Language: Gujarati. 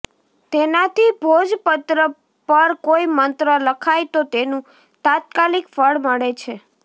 તેનાથી ભોજપત્ર પર કોઇ મંત્ર લખાય તો તેનું તાત્કાલિક ફળ મળે છે